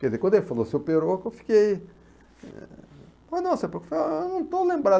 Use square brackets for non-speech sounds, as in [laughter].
Quer dizer, quando ele falou seu peroco, eu fiquei... [unintelligible] Eu não estou lembrado